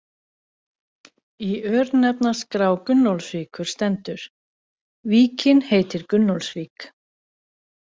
Í örnefnaskrá Gunnólfsvíkur stendur: Víkin heitir Gunnólfsvík.